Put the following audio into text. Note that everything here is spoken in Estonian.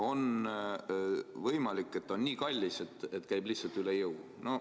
On võimalik, et see on nii kallis, et käib lihtsalt üle jõu.